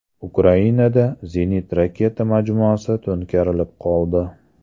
Ukrainada zenit-raketa majmuasi to‘nkarilib qoldi.